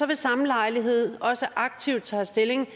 ved samme lejlighed også aktivt tage stilling